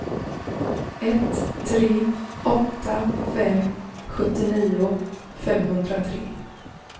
ett tre åtta fem sjuttionio femhundratre